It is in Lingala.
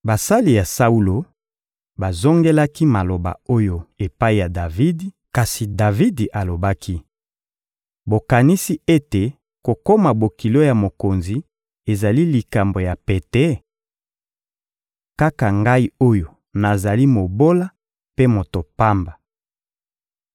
Basali ya Saulo bazongelaki maloba oyo epai ya Davidi, kasi Davidi alobaki: «Bokanisi ete kokoma bokilo ya mokonzi ezali likambo ya pete? Kaka ngai oyo nazali mobola mpe moto pamba!»